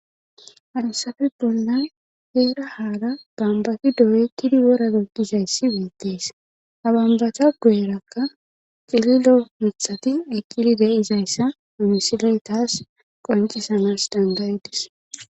Alusafe bolnan heera haala bambafi doyekidi wora goggizayssi beettees abanbacha guerakka cililo mithati eqili de7izayssa mimisiley taas qoncisanas dangayedis..